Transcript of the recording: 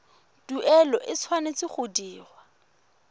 tuelo e tshwanetse go dirwa